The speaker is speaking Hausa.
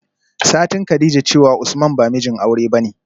satin kadijah cewa usman ba mijin aure bane